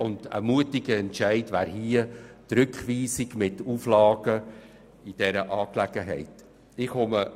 Hier wäre die Rückweisung mit den Auflagen ein mutiger Entscheid.